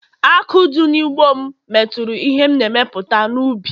Àkụ̀ dị n’ugbo m metụrụ ihe m na-emepụta n’ubi